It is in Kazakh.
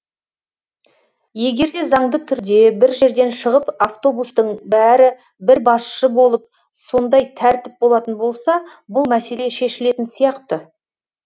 егер де заңды түрде бір жерден шығып автобустың бәрі бір басшы болып сондай тәртіп болатын болса бұл мәселе шешілетін сияқты